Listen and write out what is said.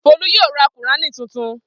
Folú yóò ra Kùránì tuntun.